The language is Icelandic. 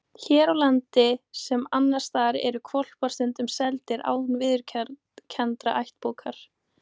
Hér á landi, sem annars staðar, eru hvolpar stundum seldir án viðurkenndrar ættbókar.